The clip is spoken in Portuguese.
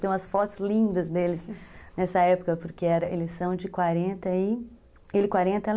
Tem umas fotos lindas deles nessa época, porque eles são de quarenta e... Ele quarenta, ela